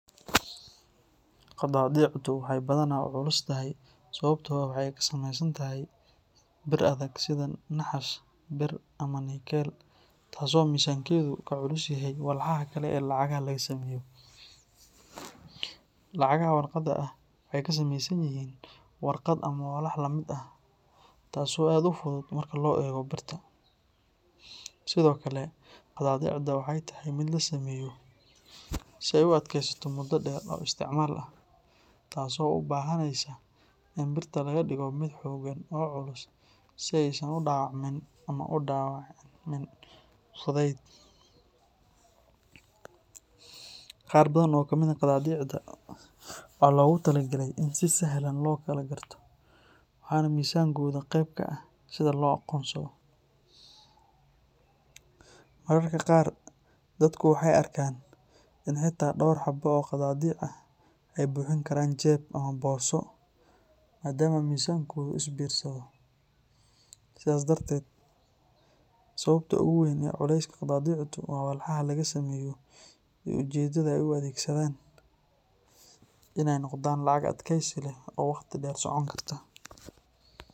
Qadaadiicdu waxay badanaa u culustahay sababtoo ah waxay ka samaysan tahay bir adag sida naxaas, bir, ama nikkel, taas oo miisaankeedu ka culus yahay walxaha kale ee lacagaha laga sameeyo. Lacagaha warqadda ah waxay ka samaysan yihiin warqad ama walax la mid ah, taas oo aad u fudud marka loo eego birta. Sidoo kale, qadaadiicda waxay tahay mid la sameeyo si ay u adkaysato muddo dheer oo isticmaal ah, taas oo u baahanaysa in birta laga dhigo mid xooggan oo culus si aysan u dhaawacmin ama u dhaawacmin fudayd. Qaar badan oo ka mid ah qadaadiicda waxaa loogu talagalay in si sahlan loo kala garto, waxaana miisaankooda qayb ka ah sida loo aqoonsado. Mararka qaar dadku waxay arkaan in xitaa dhowr xabo oo qadaadiic ah ay buuxin karaan jeeb ama boorso maadaama miisaankoodu is biirsado. Sidaas darteed, sababta ugu weyn ee culayska qadaadiicdu waa walxaha laga sameeyo iyo ujeedada ay u adeegsadaan in ay noqdaan lacag adkaysi leh oo waqti dheer socon karta.